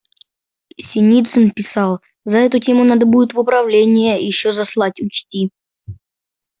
синицын писал за эту тему надо будет в управление ещё заслать учти